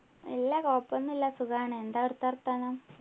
ഇല്ല കൊഴപ്പോന്നും ഇല്ല സുഖാണ് എന്താ അവിടെത്തെ വർത്താനം